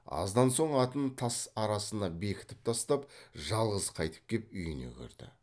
аздан соң атын тас арасына бекітіп тастап жалғыз қайтып кеп үйіне кірді